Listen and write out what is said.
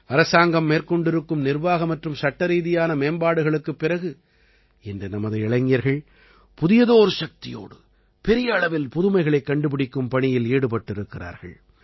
அரசாங்கம் மேற்கொண்டிருக்கும் நிர்வாக மற்றும் சட்டரீதியான மேம்பாடுகளுக்குப் பிறகு இன்று நமது இளைஞர்கள் புதியதோர் சக்தியோடு பெரிய அளவில் புதுமைகளைக் கண்டுபிடிக்கும் பணியில் ஈடுபட்டிருக்கிறார்கள்